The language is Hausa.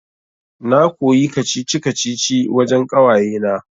Na koyi kacici-kacici wajan ƙawayena